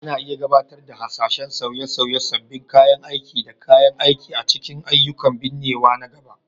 Ana iya gabatar da hasashen sauye-sauye, sabbin kayan aiki da kayan aiki a cikin ayyukan binnewa na gaba